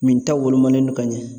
Minta wolomanen no ka ɲɛ